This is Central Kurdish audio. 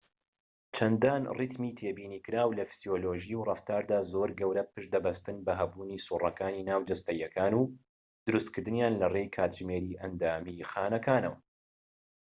چەندان ریتمی تێبینی کراو لە فسیۆلۆژی و ڕەفتاردا زۆر گەورە پشت دەبەستن بە هەبوونی سووڕەکانی ناوجەستەییەکان و دروستکردنیان لەڕێی کاتژمێری ئەندامیی خانەکانەوە